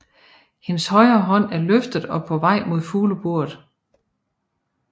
Hendes højre hånd er løftet og på vej mod fugleburet